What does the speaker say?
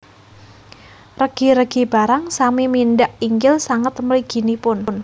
Regi regi barang sami mindhak inggil sanget mliginipun